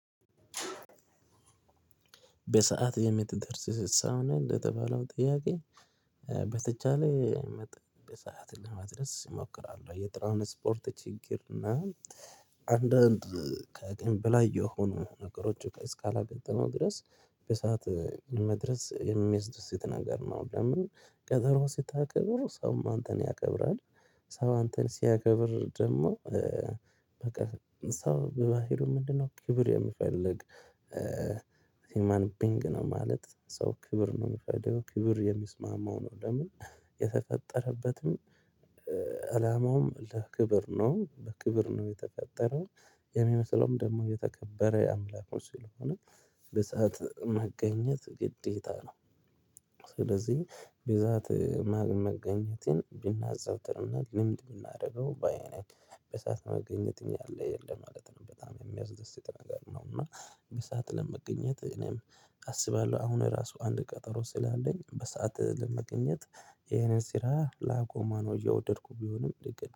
በሰአት የምትደርስ ስሳውን እንደተባለው ጥያቄ? በተቻለ መጠን በሰአት ለመድረስ እሞክራለሁ የትራንስፖርት ችግር እና ካቅም በላይ የሆኑ ነገሮች እስካላጋጠመ ድረስ በሰአት መድረስ የሚያስደስት ነገር ነው። ለምን? ቀጠሮ ስታከብር ሰውም አንተን ያከብራል። ሰው አንተን ሲያከብር ደግሞ በቃ ሰው በባህሩ ምንድነው? ክብር የምፈልግ ሁማን ቢንግ ነው ማለት ሰው ክብር ነው የሚፈልገው ክብር የሚስማማው ነው። ለምን? የተፈጠረበትን አላማውም ለክብር ነው በክብር ነው የተፈጠረው። የሚመስለውም ደግሞ የተከበረ አምላክ ውስጥ ስለሆነ በሰአት መገኘት ግዴታ ነው። ስለዚህ ብዛት መገኘትን ብናጸናው ጥሩ ነው። ልምድ ብናደርገው በይ ነኝ። በሰአት መገኘት እኛ አለ የለም ማለት ነው። በጣም የሚያስደስት ነገር ነው። እና በሰአት ለመገኘት እኔም አስባለሁ አሁን ራሱ አንድ ቀጠሮ ስላለኝ በሰአት ለመገኘት ይሄንን ስራ ላቆመወው ነው እየወደድኩት ቢሆንም ልክ